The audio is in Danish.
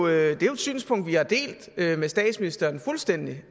er jo et synspunkt vi har delt med statsministeren fuldstændig